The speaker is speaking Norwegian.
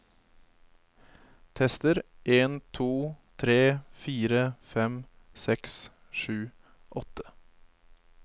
Tester en to tre fire fem seks sju åtte